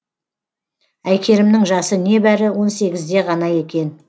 әйкерімнің жасы не бәрі он сегізде ғана екен